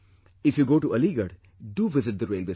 If you go to Aligarh, do visit the railway station